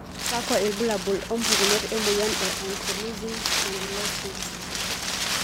Kakwa ilbulabul opukunoto emoyian e Ankylosing spondylitis?